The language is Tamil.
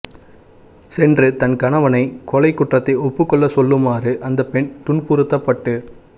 சென்று தன் கணவனை கொலை குற்றத்தை ஒப்புகொள்ள சொல்லு மாறு அந்தப் பெண் துன்புறுத்தப்பட்டு